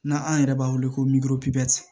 Na an yɛrɛ b'a wele ko